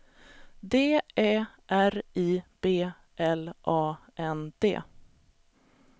D Ä R I B L A N D